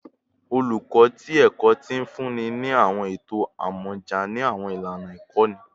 Oluko ti Ẹkọ ti funni ni awọn eto amọja ni awọn ilana ikọni